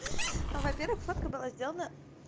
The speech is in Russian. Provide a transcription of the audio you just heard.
ну во-первых фотка была сделана